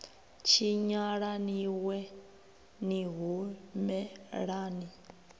tshinyala ni wee ni humelani